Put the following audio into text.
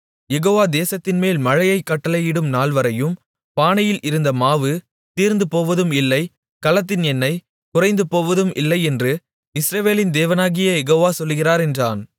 யெகோவா தேசத்தின்மேல் மழையைக் கட்டளையிடும் நாள்வரையும் பானையில் இருந்த மாவு தீர்ந்துபோவதும் இல்லை கலசத்தின் எண்ணெய் குறைந்துபோவதும் இல்லை என்று இஸ்ரவேலின் தேவனாகிய யெகோவா சொல்லுகிறார் என்றான்